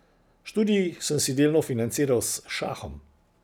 Študij sem si delno financiral s šahom.